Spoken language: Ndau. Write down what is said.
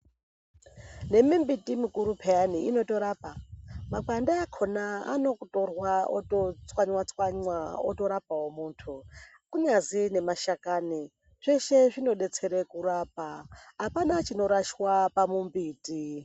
Nemimbiti mukuru pheyani inotorapa. Makwande akhona anotorwa, ototswanywa-stwanywa, otorapawo munthu. Kunyazwi nemashakanyi, zveshe zvinodetsera kurapa. Apana chinorashwa pamumbiti.